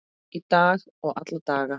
Í dag og alla daga.